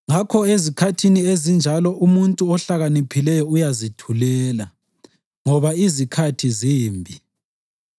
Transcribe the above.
Ngakho ezikhathini ezinjalo umuntu ohlakaniphileyo uyazithulela, ngoba izikhathi zimbi.